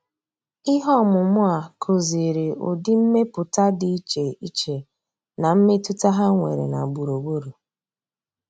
Ihe ọmụmụ a kụziri ụdị mmepụta dị iche iche na mmetụta ha nwere na gburugburu.